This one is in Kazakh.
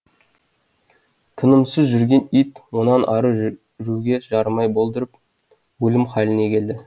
тынымсыз жүрген ит онан ары жүруге жарамай болдырып өлім халіне келді